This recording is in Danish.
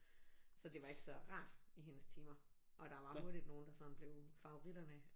Så det var ikke så rart i hendes timer og der var hurtigt nogle der sådan blev favoritterne